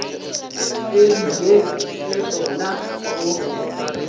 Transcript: e bile e kgona go